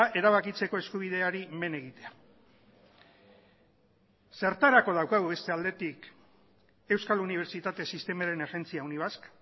erabakitzeko eskubideari men egitea zertarako daukagu beste aldetik euskal unibertsitate sistemaren agentzia unibasq